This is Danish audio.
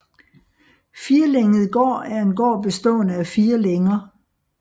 Firlænget gård er en gård bestående af fire længer